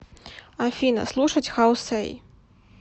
афина слушать хау сэй